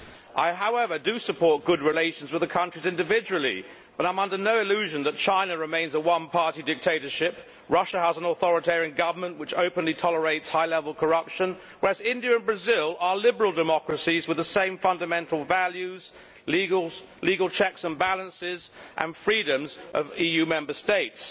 I support good relations with the countries individually but I am under no illusion that China remains a one party dictatorship, Russia has an authoritarian government which openly tolerates high level corruption, whereas India and Brazil are liberal democracies with the same fundamental values, legal checks and balances and freedoms as EU Member States.